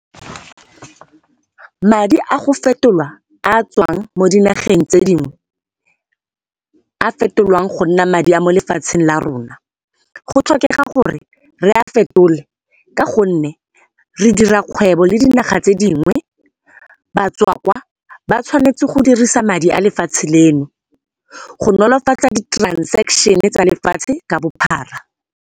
Madi a go fetolwa a a tswang mo dinageng tse dingwe, a fetolwang gonna madi a molefatsheng larona, go tlhokega gore re a fetole ka gonne re dira kgwebo ledinaga tse dingwe. Batswa kwaa ba tshwanetse go dirisa madi alefatshe leno, go nolofatsa ditransekshene tsa lefatshe ka bophara.